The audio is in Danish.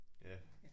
Ja